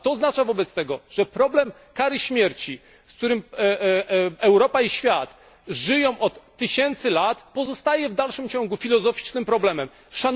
A to oznacza wobec tego, że problem kary śmierci, z którym Europa i świat żyją od tysięcy lat, pozostaje w dalszym ciągu problemem filozoficznym.